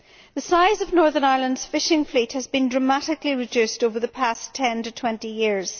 The size of Northern Ireland's fishing fleet has been dramatically reduced over the past ten to twenty years.